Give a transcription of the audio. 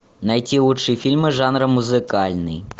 найти лучшие фильмы жанра музыкальный